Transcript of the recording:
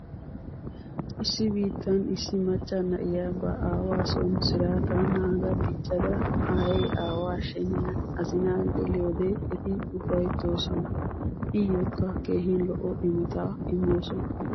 Issi biittan issi macca na'iya ba aawaason siraataa naaga diccada aayee aawa sheniyan azinaa geliyode eti ufayttoosona. Iyookka keehin lo'o imota immoosona.